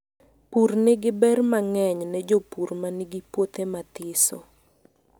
Pur nigi ber mangeny ne jopur manigi puohe mathiso.